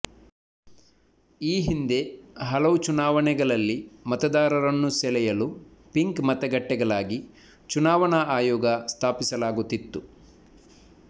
ಈ ಹಿಂದೆ ಹಲವು ಚುನಾವಣೆಗಳಲ್ಲಿ ಮತದಾರರನ್ನು ಸೆಳೆಯಲು ಪಿಂಕ್ ಮತಗಟ್ಟೆಗಳಾಗಿ ಚುನಾವಣಾ ಆಯೋಗ ಸ್ಥಾಪಿಸಲಾಗುತ್ತಿತ್ತು